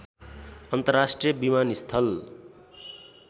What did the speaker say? अन्तर्राष्ट्रिय विमानस्थल